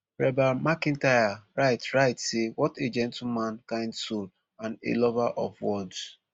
reba mcentire write write say wat a gentleman kind soul and a lover of words